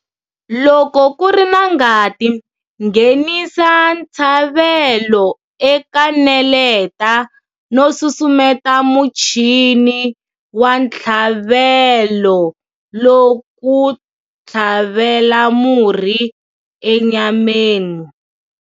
Loko ku ri na ngati, nghenisa ntshavelo eka neleta no susumeta muchini wa ntshlavelo ku tlhavela murhi enyameni.